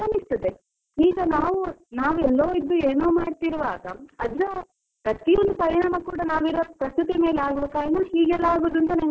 ಈಗ ನಾವು ನಾವು ಎಲ್ಲೋ ಇದ್ದೋ ಏನೋ ಮಾಡ್ತಿರುವಾಗ ಅದ್ರ ಪ್ರತಿಯೊಂದು ಪರಿಣಾಮ ಕೂಡ ನಾವು ಇರೋ ಪ್ರಕೃತಿ ಮೇಲೆ ಆಗುವ ಕಾರಣ ಹೀಗೆಲ್ಲಾ ಆಗೋದು ಅಂತ ನಂಗೆ ಅನಿಸುತ್ತದೆ.